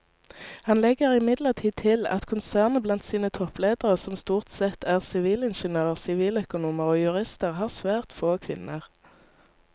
Han legger imidlertid til at konsernet blant sine toppledere som stort sette er sivilingeniører, siviløkonomer og jurister har svært få kvinner.